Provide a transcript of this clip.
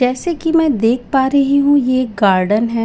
जैसे कि मैं देख पा रही हूं ये एक गार्डन है।